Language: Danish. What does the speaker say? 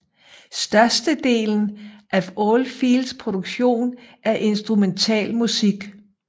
Størstedelen af Oldfields produktion er instrumentalmusik